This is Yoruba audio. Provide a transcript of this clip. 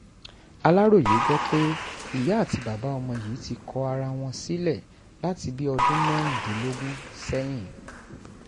aláròye gbọ́ pé ìyá àti bàbá ọmọ yìí ti kọ ara wọn sílẹ̀ láti bíi ọdún mẹ́rìndínlógún sẹ́yìn